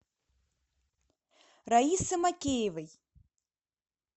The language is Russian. раисы макеевой